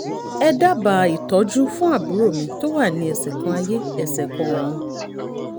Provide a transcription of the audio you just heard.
ẹ dábàá ìtọ́jú fún àbúrò mi tó wà ní ẹsẹ̀ kan ayé ẹsẹ̀ kan ọ̀run